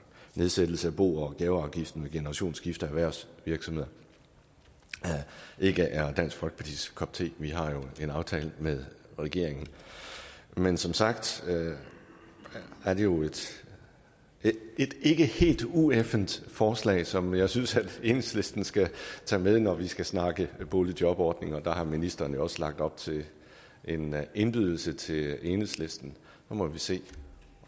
nedsættelse af bo og gaveafgiften ved generationsskifter i erhvervsvirksomheder ikke er dansk folkepartis kop te vi har jo en aftale med regeringen men som sagt er det jo et ikke helt ueffent forslag som jeg synes enhedslistens skal tage med når vi skal snakke boligjobordning der har ministeren jo også lagt op til en indbydelse til enhedslisten så må vi se